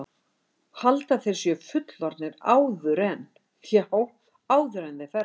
Halda að þeir séu fullorðnir áður en, já, áður en þeir fermast.